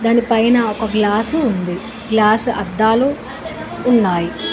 దానిపైన ఒక గ్లాసు ఉంది గ్లాసు అద్దాలు ఉన్నాయి.